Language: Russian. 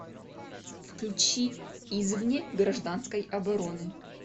включи извне гражданской обороны